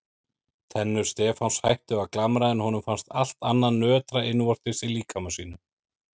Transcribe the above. Tennur Stefáns hættu að glamra en honum fannst allt annað nötra innvortis í líkama sínum.